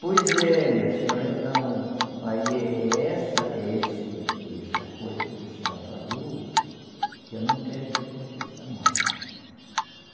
Pois é, minha senhora, então, aí é é essa, é esse essa coisa que a senhora falou, que eu não quero que aconteça mais.